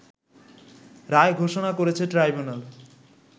রায় ঘোষণা করেছে ট্রাইব্যুনাল